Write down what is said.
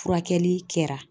Furakɛli kɛra.